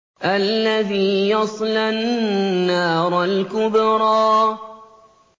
الَّذِي يَصْلَى النَّارَ الْكُبْرَىٰ